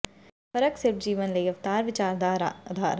ਫ਼ਰਕ ਸਿਰਫ਼ ਜੀਵਨ ਲਈ ਅਵਤਾਰ ਵਿਚਾਰ ਦਾ ਅਧਾਰ ਹੈ